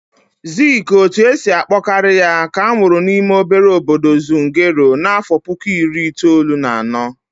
Ziiki, otu esi akpọ karị ya, ka amụrụ n'ime obere obodo Zungeru n'afọ puku iri itoolu na anọ.